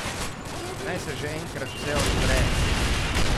Naj se že enkrat vse odpre!